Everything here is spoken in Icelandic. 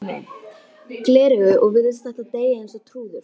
gleraugu og virðist ætla að deyja eins og trúður.